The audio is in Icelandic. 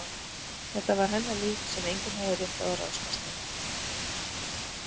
Þetta var hennar líf sem enginn hafði rétt á að ráðskast með.